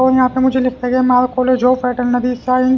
और यहां पे मुझे लिखा गया model college of veterinary science --